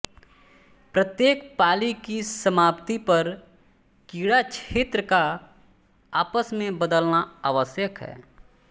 प्रत्येक पाली की समाप्ति पर क्रीड़ाक्षेत्र का आपस में बदलना आवश्यक है